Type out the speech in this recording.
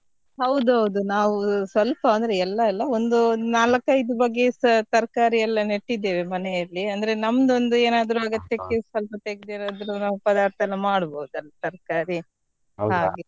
ಹೌದೌದು ನಾವ್ ಸ್ವಲ್ಪ ಅಂದ್ರೆ ಎಲ್ಲ ಅಲ್ಲ ಒಂದ್ ನಾಲ್ಕು ಐದು ಬಗೆಸ ತರಕಾರಿ ಎಲ್ಲ ನೆಟ್ಟಿದ್ದೇವೆ ಮನೇಯಲ್ಲಿ ಅಂದ್ರೆ ನಮ್ದ್ ಒಂದ್ ಏನಾದ್ರು ಅಗತ್ಯಕ್ಕೆ ಸ್ವಲ್ಪ ತೆಗ್ದು ಏನಾದ್ರು ನಾವು ಪದಾರ್ಥ ಎಲ್ಲ ಮಾಡ್ಬೋದಲ್ಲ ತರ್ಕಾರಿ .